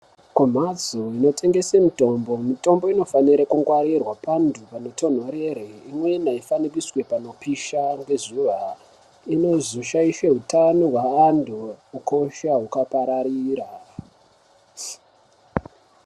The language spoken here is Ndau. Kumhatso inotengese mutombo , mutombo inofanira kungwarirwa antu panotonhorera imweni aifani iswe painotsva nezuva inozoshaishe hutano hwevanhu ukosha hukapararira